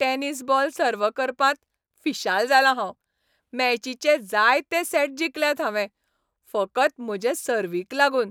Tennis ball सर्व करपांत फिशाल जालां हांव. मॅचीचे जायते सॅट जिखल्यात हांवें फकत म्हजे सर्व्हीक लागून.